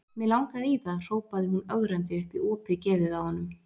Mig langaði í það, hrópaði hún ögrandi upp í opið geðið á honum.